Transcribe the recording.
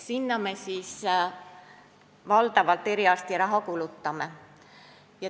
Valdavalt sinna me eriarstiraha kulutame.